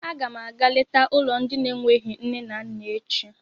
A ga m àgá léta ụlọ ndị n'enweghị nne na nna echi